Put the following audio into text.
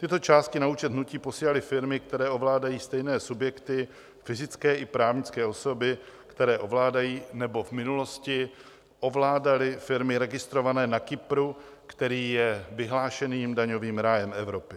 Tyto částky na účet hnutí posílaly firmy, které ovládají stejné subjekty, fyzické i právnické osoby, které ovládají nebo v minulosti ovládaly firmy registrované na Kypru, který je vyhlášeným daňovým rájem Evropy.